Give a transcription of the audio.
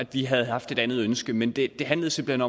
vi havde haft et andet ønske men det handlede simpelt